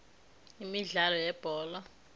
imidlalo yebholo erarhwako